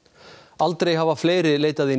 aldrei hafa fleiri leitað í